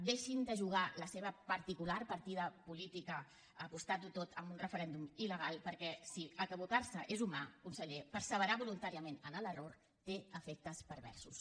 deixin de jugar la seva particular partida política apostant ho tot a un referèndum ilquè si equivocar se és humà conseller perseverar voluntàriament en l’error té efectes perversos